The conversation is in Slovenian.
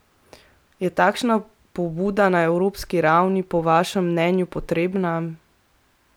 Je takšna pobuda na evropski ravni po vašem mnenju potrebna?